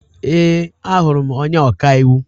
Ee, ahụrụ m onye ọka iwu.